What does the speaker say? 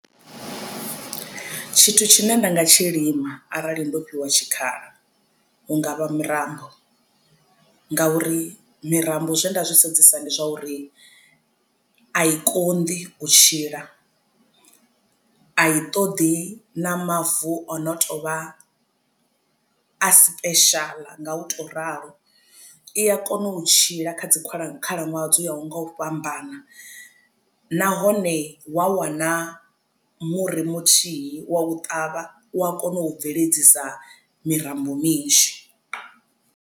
Tshithu tshine nda nga tshi lima arali ndo fhiwa tshikhala hungavha mirambo ngauri mirambo zwe nda zwi sedzesa ndi zwa uri a i konḓi u tshila a i toḓi na mavu o no tovha a special nga u tou ralo i a kona u tshila kha dzi khalaṅwaha dzo ya ho ngo u fhambana nahone wa wana muri muthihi wa u ṱavha u a kona u u bveledzisa mirambo minzhi.